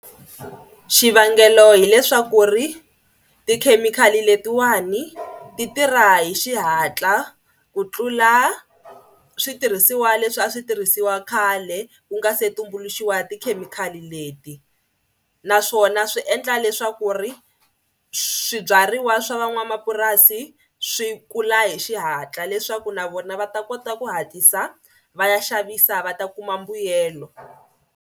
Xivangelo hileswaku ri tikhemikhali letiwani ti tirha hi xihatla ku tlula switirhisiwa leswi a swi tirhisiwa khale ku nga se tumbuluxiwa tikhemikhali leti naswona swi endla leswaku ri swibyariwa swa van'wamapurasi swi kula hi xihatla leswaku na vona va ta kota ku hatlisa va ya xavisa va ta kuma mbuyelo.